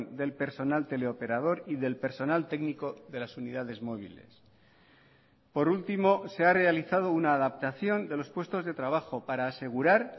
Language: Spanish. del personal teleoperador y del personal técnico de las unidades móviles por último se ha realizado una adaptación de los puestos de trabajo para asegurar